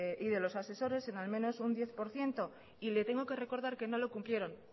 y de los asesores en al menos un diez por ciento y le tengo que recordar que no lo cumplieron